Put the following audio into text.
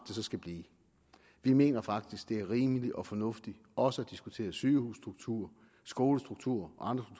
så skal blive vi mener faktisk at det er rimeligt og fornuftigt også at diskutere sygehusstruktur skolestruktur og andre